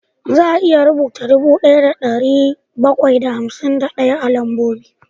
Za a iya rubuta dubu ɗaya da ɗari bakwai da hamsin ɗaya a lambobi